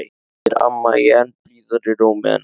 spyr amma í enn blíðari rómi en áður.